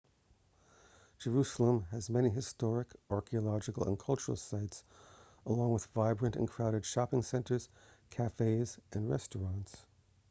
jerusalem has many historic archeological and cultural sites along with vibrant and crowded shopping centers cafés and restaurants